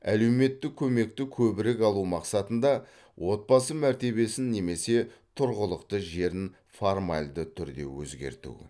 әлеуметтік көмекті көбірек алу мақсатында отбасы мәртебесін немесе тұрғылықты жерін формальды түрде өзгерту